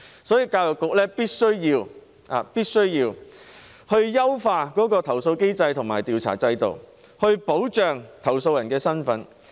所以，教育局必須優化投訴機制和調查制度，保護投訴人的身份。